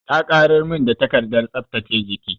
Ta ƙarar min da takardar tsaftace jiki.